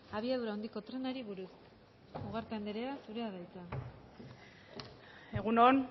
abiadura handiko trenari buruz ugarte anderea zurea da hitza egun on